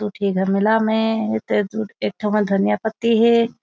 दू ठी घमेला में ता दू एक ठीक मा धनिया पत्ती हे।